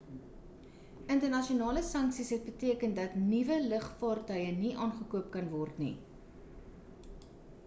internasionale sanksies het beteken dat nuwe lugvaartuie nie aangekoop kan word nie